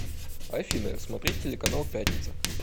афина смотреть телеканал пятница